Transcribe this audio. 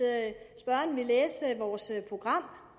spørgeren ville læse vores program